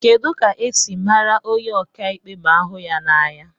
Kedu ka esi mara onye ọka ikpe ma ahu ha na anya